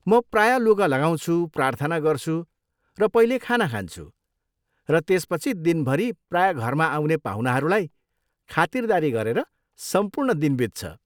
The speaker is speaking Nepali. म प्रायः लुगा लगाउँछु, प्रार्थना गर्छु, र पहिले खाना खान्छु, र त्यसपछि दिनभरि प्राय घरमा आउने पाहुनाहरूलाई खातिरदारी गरेर सम्पूर्ण दिन बित्छ।